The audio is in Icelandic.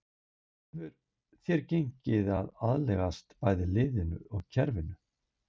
Hvernig hefur þér gengið að aðlagast bæði liðinu og kerfinu?